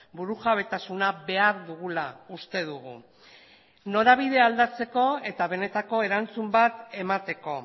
burujabetasuna behar dugula uste dugu norabidea aldatzeko eta benetako erantzun bat emateko